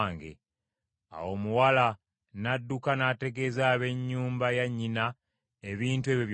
Awo omuwala n’adduka n’ategeeza ab’ennyumba ya nnyina ebintu ebyo byonna.